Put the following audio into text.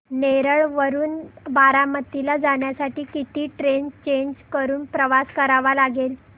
नेरळ वरून बारामती ला जाण्यासाठी किती ट्रेन्स चेंज करून प्रवास करावा लागेल